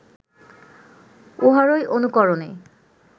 উহারই অনুকরণে